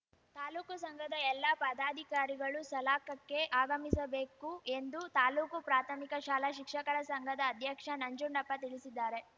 ತಾಲೂಕು ಸಂಘದ ಎಲ್ಲ ಪದಾಧಿಕಾರಿಗಳು ಸಲಾಕಕ್ಕೆ ಆಗಮಿಸಬೇಕು ಎಂದು ತಾಲೂಕು ಪ್ರಾಥಮಿಕ ಶಾಲಾ ಶಿಕ್ಷಕರ ಸಂಘದ ಅಧ್ಯಕ್ಷ ನಂಜುಂಡಪ್ಪ ತಿಳಿಸಿದ್ದಾರೆ